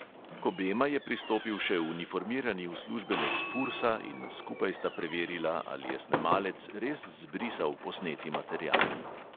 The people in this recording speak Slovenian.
K obema je pristopil še uniformirani uslužbenec fursa in skupaj sta preverila, ali je snemalec res zbrisal posneti material.